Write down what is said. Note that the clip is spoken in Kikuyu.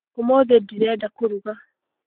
ũmũthĩ ndirenda kũruga.